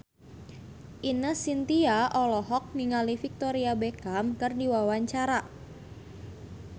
Ine Shintya olohok ningali Victoria Beckham keur diwawancara